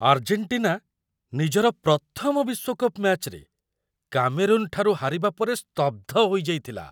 Argentina ନିଜର ପ୍ରଥମ ବିଶ୍ୱକପ୍ ମ‍୍ୟାଚ୍‌ରେ କାମେରୁନ୍‌ଠାରୁ ହାରିବା ପରେ ସ୍ତବ୍ଧ ହୋଇଯାଇଥିଲା।